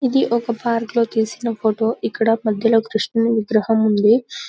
ఇది ఒక పార్క్ లో తీసిన ఫోటో ఇక్కడ మధ్యలో కృష్ణుడి విగ్రహం ఉంది .